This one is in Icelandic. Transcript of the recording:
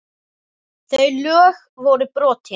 Þau lög voru brotin.